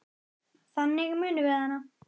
Þannig munum við hana.